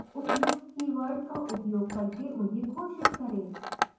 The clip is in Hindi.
उपयुक्त कीवर्ड का उपयोग करके उन्हें घोषित करें